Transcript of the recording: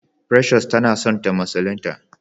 precious ta na son ta musulinta.